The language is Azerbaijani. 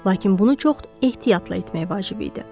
Lakin bunu çox ehtiyatla etmək vacib idi.